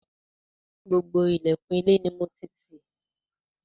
Gbogbo ilẹ̀kùn ilé ni mo ti tì.